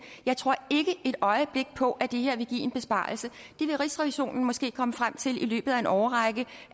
jeg tror ikke et øjeblik på at det her vil give en besparelse det vil rigsrevisionen måske komme frem til i løbet af en årrække